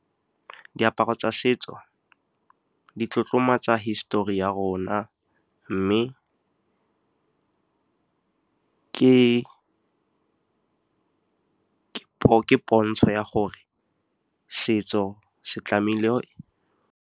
Diaparo tsa setso di tlotlomatsa histori ya rona, mme ke pontsho ya gore setso se tlamehile.